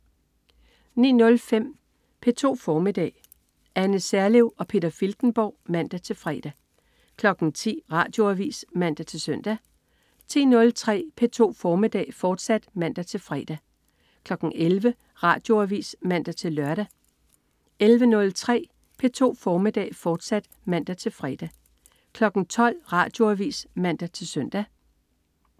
09.05 P2 formiddag. Anne Serlev og Peter Filtenborg (man-fre) 10.00 Radioavis (man-søn) 10.03 P2 formiddag, fortsat (man-fre) 11.00 Radioavis (man-lør) 11.03 P2 formiddag, fortsat (man-fre) 12.00 Radioavis (man-søn)